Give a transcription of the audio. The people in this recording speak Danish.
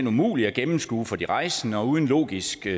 umulige at gennemskue for de rejsende og uden logisk